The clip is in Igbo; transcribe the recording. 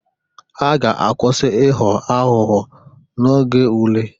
Ha ga-akwusi ịghọ aghụghọ oge ule